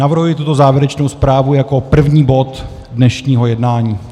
Navrhuji tuto závěrečnou zprávu jako první bod dnešního jednání.